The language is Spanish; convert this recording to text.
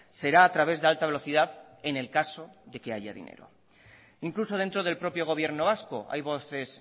será a través de alta velocidad en el caso de que haya dinero incluso dentro del propio gobierno vasco hay voces